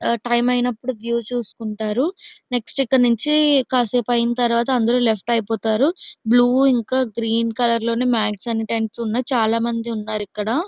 టైమై నప్పుడు వ్యూ చూసుకుంటారు నెక్స్ట్ ఇక్కడ నుంచి కాసేపైన తర్వాత అందరూ లెఫ్ట్ అయిపోతారు బ్లూ ఇంకా గ్రీన్ కలర్ లోనే మ్యాక్స్ అన్ని టెంట్స్ ఉన్నాయి. చాలా మంది వున్నారు ఇక్కడ--